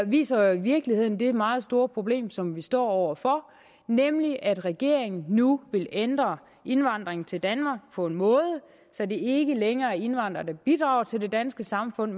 viser jo i virkeligheden det meget store problem som vi står over for nemlig at regeringen nu vil ændre indvandringen til danmark på en måde så det ikke længere er indvandrere der bidrager til det danske samfund